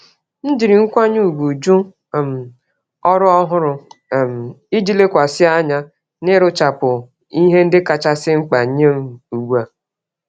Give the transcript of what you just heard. M jiri nkwanye ùgwù jụ um ọrụ ọhụrụ um iji lekwasị anya n'ịrụchapụ ihe ndị kachasị mkpa nyem ùgbúà